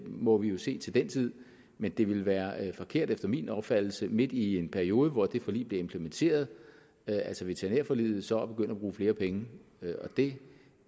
må vi jo se til den tid men det ville være forkert efter min opfattelse midt i en periode hvor det forlig blev implementeret altså veterinærforliget så at begynde at bruge flere penge det